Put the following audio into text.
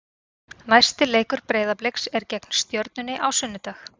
Næsti leikur Breiðabliks er gegn Stjörnunni á sunnudag.